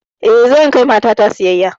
Eh zan kai mata ta siyayya.